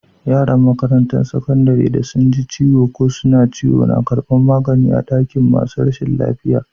Yaran makarantan sakandaren da sun ji ciwo ko suna ciwo na karbin magani a'dakin masun rashin lafiya.